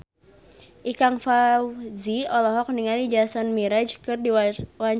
Ikang Fawzi olohok ningali Jason Mraz keur diwawancara